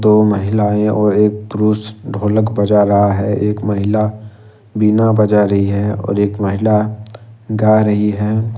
दो महिलाएं और एक पुरुष ढोलक बजा रहा है एक महिला बिना बजा रही है और एक महिला गा रही है।